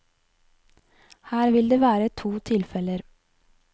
Her vil det være to tilfeller.